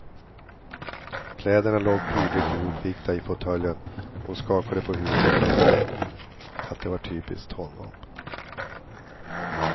Kläderna låg prydligt ihopvikta i fåtöljen, och hon skakade på huvudet och tänkte att det var typiskt honom.